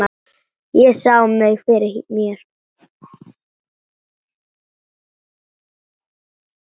Ég sá mig fyrir mér.